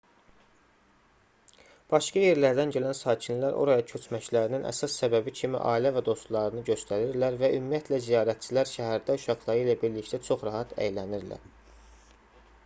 başqa yerlərdən gələn sakinlər oraya köçməklərinin əsas səbəbi kimi ailə və dostlarını göstərirlər və ümumiyyətlə ziyarətçilər şəhərdə uşaqları ilə birlikdə çox rahat əylənirlər